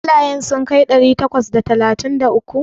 Ƙwallayen sun kai ɗari takwas da talatin da uku?